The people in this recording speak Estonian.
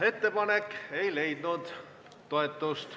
Ettepanek ei leidnud toetust.